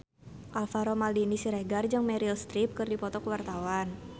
Alvaro Maldini Siregar jeung Meryl Streep keur dipoto ku wartawan